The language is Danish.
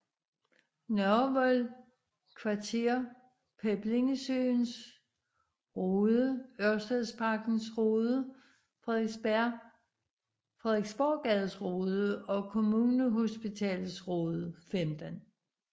Nørrevold Kvarter Peblingesøens Rode Ørstedsparkens Rode Frederiksborggades Rode Kommunehospitalets Rode 15